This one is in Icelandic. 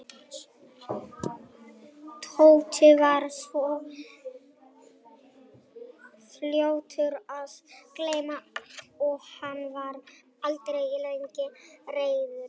Tóti var svo fljótur að gleyma og hann var aldrei lengi reiður.